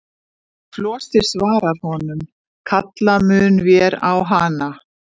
Og Flosi svarar honum: Kalla munum vér á hana.